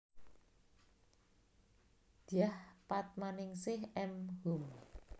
Dyah Padmaningsih M Hum